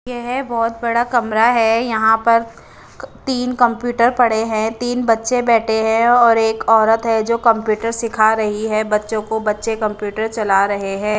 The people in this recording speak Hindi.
यह बहुत बड़ा कमरा है यहां पर तीन कंप्यूटर पड़े हैं तीन बच्चे बैठे हैं और एक औरत है जो कंप्यूटर सिखा रही है बच्चों को बच्चे कंप्यूटर चला रहे है।